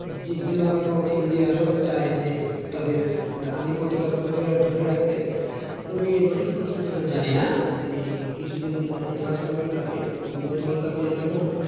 ঠিক যেভাবেই হোক ইন্ডিয়া আসলে চায় যে তাদের আধিপত্ত টা ধরে রাখতে। তুমি notice করছো কিনা জানিনা। এই কিছুদিন এই last world cup এ বিগত world cup এ যখন,